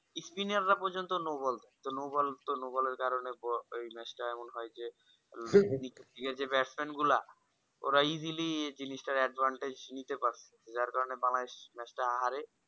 spinner পর্জন্ত no ball তো no ball এর কারণে এই match এমন হয় হয়ে যে batsman গুলো ওরা easily জিনিসটার advantage নিতে পারে যার কারণে বাংলাদেশ match টা হারে